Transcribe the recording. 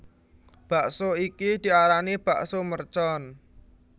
Bakso iki diarani bakso mercon